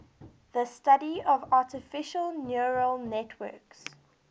the study of artificial neural networks